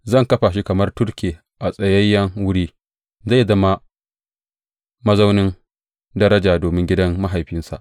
Zan kafa shi kamar turke a tsayayyen wuri; zai zama mazaunin daraja domin gidan mahaifinsa.